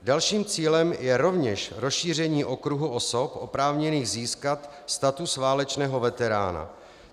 Dalším cílem je rovněž rozšíření okruhu osob oprávněných získat status válečného veterána.